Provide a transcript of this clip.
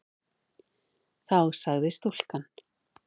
Þá sagði stúlkan